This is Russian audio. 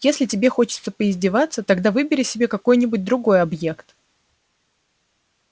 если тебе хочется поиздеваться тогда выбери себе какой-нибудь другой объект